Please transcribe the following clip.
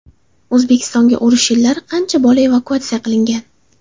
O‘zbekistonga urush yillari qancha bola evakuatsiya qilingan?